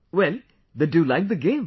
Well then do you like the game